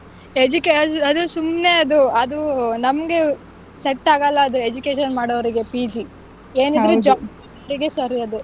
Education ಅದು ಸುಮ್ನೆ ಅದು ಅದು ನಮ್ಗೆ set ಆಗಲ್ಲ ಅದು education ಮಾಡೋರಿಗೆ PG ಏನಿದ್ರೂ job ಮಾಡೋರಿಗೆ ಸರಿ ಅದು.